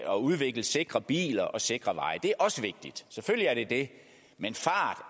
at udvikle sikre biler og sikre veje det er også vigtigt selvfølgelig er det det men fart